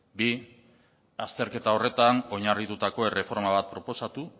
bi azterketa horretan oinarritutako erreforma bat proposatu